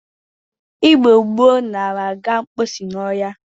Igbo gboo nara aga mposi n'ohia.